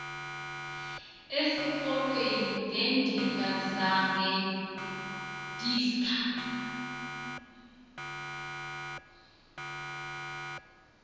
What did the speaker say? esikolweni ngendingazange nditsak